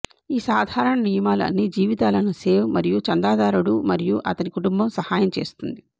ఈ సాధారణ నియమాలు అన్ని జీవితాలను సేవ్ మరియు చందాదారుడు మరియు అతని కుటుంబం సహాయం చేస్తుంది